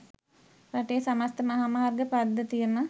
රටේ සමස්ත මහාමාර්ග පද්ධතියම